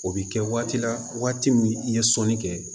O bɛ kɛ waati la waati min i ye sɔnni kɛ